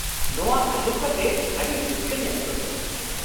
ᱱᱚᱶᱟ ᱟᱸᱡᱚᱢ ᱠᱟᱛᱮ ᱟᱹᱰᱤ ᱨᱟᱹᱥᱠᱟᱹᱧ ᱟᱹᱭᱠᱟᱣ ᱠᱮᱫᱟ ᱾